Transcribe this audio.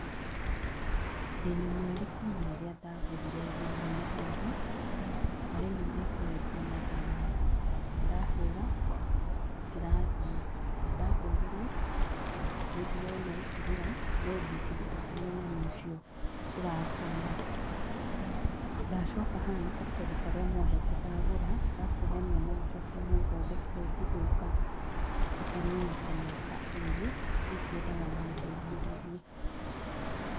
Ndĩna mweri kuma rĩrĩa ndagũrire thimũ ĩno haha, na rĩu nĩkoretwo na thĩna ndahũra ndĩrathie, na ndahũrĩrwo nĩndĩrona ĩkĩrĩra, no ndingĩhota kũmenya no ũcio ũrahũra. Ndacoka haha na karatathi karia mwahete ndagũra ga kuonania no njoke mũthondekere ĩngĩthũka ĩtaninĩte mĩaka ĩrĩ rĩu ngwendaga mũndeithĩrĩrie.